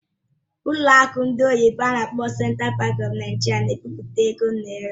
Ụlọ akụ ndị oyibo n'akpọ "Central Bank of Nigeria" na-ebipụta ego naira.